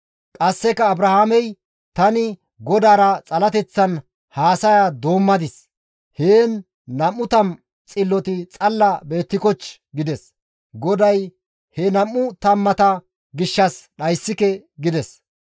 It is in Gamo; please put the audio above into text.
Qasseka Abrahaamey, «Tani Godaara xalateththan haasaya doommadis; heen 20 xilloti xalla beettikochchii?» gides. GODAY, «He nam7u tammata gishshas dhayssike» gides.